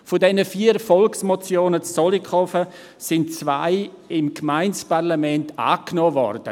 Von diesen vier Volksmotionen in Zollikofen wurden zwei vom Gemeindeparlament angenommen.